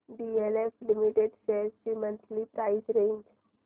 DLF limited shares ची monthly price range